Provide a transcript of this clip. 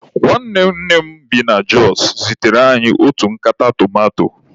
Nwanne nne m bi na Jọs zitere anyị otu nkata tomato.